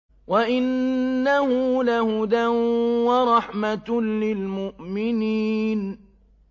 وَإِنَّهُ لَهُدًى وَرَحْمَةٌ لِّلْمُؤْمِنِينَ